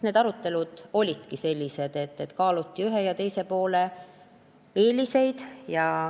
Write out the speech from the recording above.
Need arutelud olidki sellised, et kaaluti ühe ja teise lahenduse eeliseid.